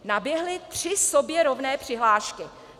Naběhly tři sobě rovné přihlášky.